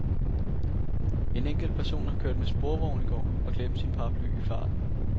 En enkelt person har kørt med sporvogn i går og glemt sin paraply i farten.